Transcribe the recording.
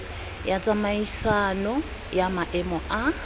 ya tsamaisano ya maemo a